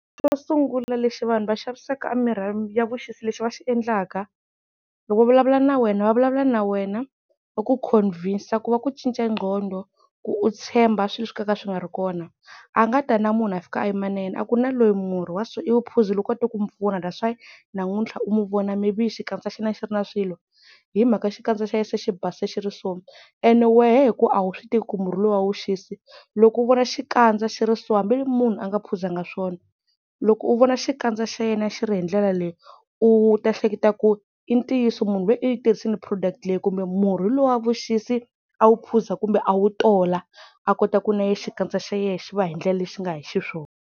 Xo sungula lexi vanhu va xavisaka mimirhi ya vuxisi lexi va xi endlaka loko va vulavula na wena va vulavula na wena ku va ku-convince ku va ku cinca qhondo ku u tshemba swilo swo ka swi nga ri kona, a nga ta na munhu a fika a yima na yena a ku na loyi murhi wa so i wu phuzile u koti ku n'wi pfuna that's why namuntlha u n'wi vona maybe xikandza xa yena a xi ri na swilo hi mhaka xikandza xa yena se xi base xi ri so. And wehe hi ku a wu swi tivi ku murhi lowuya wa vuxisi loko u vona xikandza xi ri so hambi munhu a nga phuzanga swona, loko u vona xikandza xa yena xi ri hi ndlela leyi u ta hleketa ku i ntiyiso munhu loyu u yitirhisile product leyi kumbe murhi lowuya wa vuxisi a wu phuza kumbe a wu tola a kota ku na yena xikandza xa yena xi va hindlela lexi nga hi xiswona.